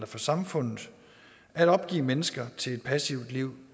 for samfundet at opgive mennesker til et passivt liv